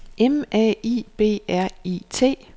M A I B R I T